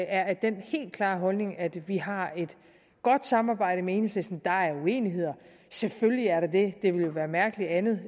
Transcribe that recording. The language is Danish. er af den helt klare holdning at vi har et godt samarbejde med enhedslisten der er uenigheder selvfølgelig er der det det ville jo være mærkeligt andet